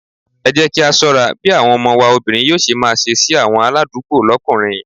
Ẹ jẹ́ kí á ṣọ́ra bí àwọn ọmọ wa obìnrin yóò ṣe máa ṣe sí àwọn aládùúgbò lókùnrin.